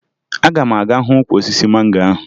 Aga m aga hụ ukwu osisi mango ahụ